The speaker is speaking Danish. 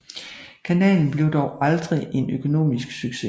Kanalen blev dog aldrig en økonomisk succes